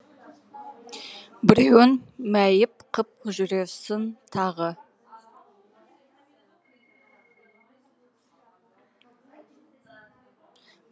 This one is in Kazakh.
біреуін мәйіп қып жүрерсің тағы